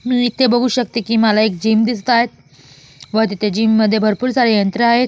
मी इथे बघू शकते की मला एक जीम दिसत आहेत व तिथे मध्ये जीममध्ये भरपूर सारे यंत्र आहेत.